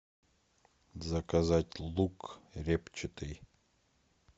заказать лук репчатый